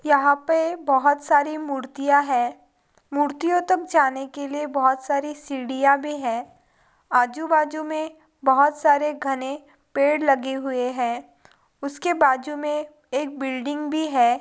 यहाँ पे बहुत सारी मूर्तियाँ हैं मूर्तियों तक जाने के लिए बहुत सारी सीढियाँ भी है आजू-बाजू में बहुत सारे घने पेड़ लगे हुए हैं उसके बाजू में एक बिल्डिंग भी है ।